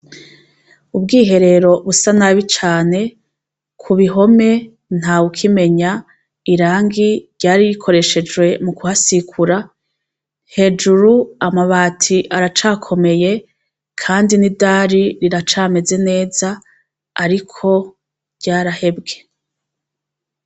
Ubwiherero busa nabi cane ku bihome nta ukimenya irangi ryari rikoreshejwe mu kuhasikura hejuru amabati aracakomeye, kandi n'idari riracameze neza, ariko ryarahebwe.